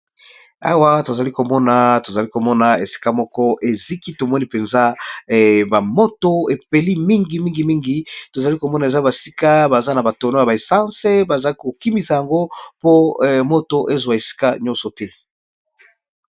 awa tozali komona tozali komona esika moko eziki tomoni mpenza bamoto epeli mingimingimingi tozali komona eza basika baza na batono ya baessance baza kokimisa yango po moto ezwa esika nyonso te